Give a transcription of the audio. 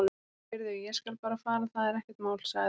Heyrðu, ég skal bara fara, það er ekkert mál- sagði